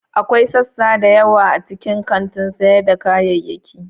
Akwai sassa da yawa a cikin kantin sayar da kayayyaki.